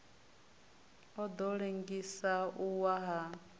ḓo ḽengisa u wa ha